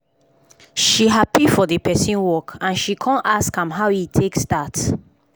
she happy for d person work and she kon ask am how e take start